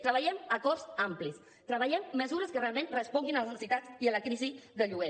treballem acords amplis treballem mesures que realment responguin a les necessitats i a la crisi del lloguer